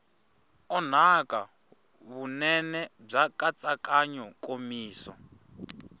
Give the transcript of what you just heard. onhaka vunene bya nkatsakanyo nkomiso